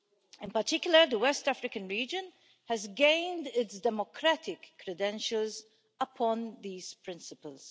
In particular, the West African region has gained its democratic credentials upon these principles.